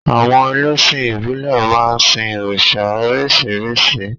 Àwon elésìn ìbílè máa n sin òrìsà orísírìsí